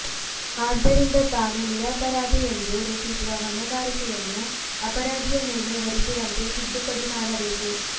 ಆದ್ದರಿಂದ ತಾನು ನಿರಪರಾಧಿಯೆಂದು ರೂಪಿಸುವ ಹೊಣೆಗಾರಿಕೆಯನ್ನು ಅಪರಾಧಿಯ ಮೇಲೆ ಹೊರಿಸುವಂತೆ ತಿದ್ದುಪಡಿ ಮಾಡಬೇಕು